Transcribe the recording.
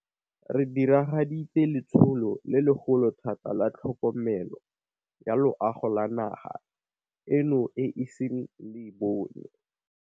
Re diragaditse letsholo le legolo thata la tlhokomelo ya loago le naga eno e iseng e le bone.